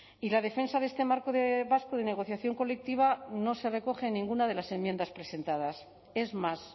y la defensa de este marco vasco de negociación colectiva no se recoge en ninguna de las enmiendas presentadas es más